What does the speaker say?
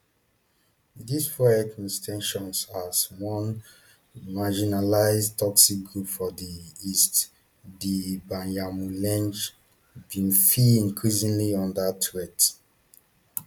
dis fuel ethnic ten sions as one marginalised tutsi group for di east di banyamulenge bin feel increasingly under threat